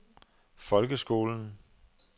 folkeskolen